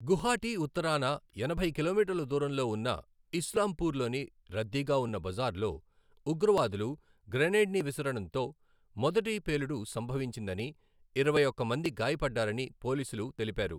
గుహాటీ ఉత్తరాన ఎనభై కిలోమీటర్ల దూరంలో ఉన్న ఇస్లాంపూర్లోని రద్దీగా ఉన్న బజార్లో, ఉగ్రవాదులు గ్రెనేడ్ని విసరడంతో మొదటి పేలుడు సంభవించిందని, ఇరవై ఒక్క మంది గాయపడ్డారని పోలీసులు తెలిపారు.